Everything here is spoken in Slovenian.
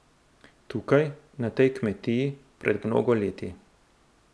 Tukaj, na tej kmetiji, pred mnogo leti.